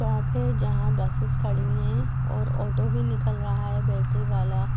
वहा पे जहा बसेस खड़ी है और ऑटो भी निकाल रहा है बेटरी वाला|